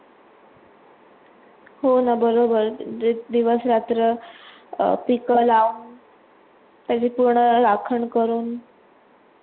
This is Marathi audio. हो ना बरोबर दिवस रात्र अं पीक लाऊन आणि पूर्ण अखंड करून